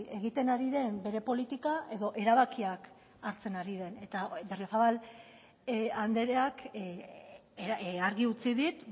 egiten ari den bere politika edo erabakiak hartzen ari den eta berriozabal andreak argi utzi dit